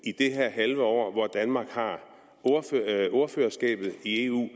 halve år hvor danmark har ordførerskabet i eu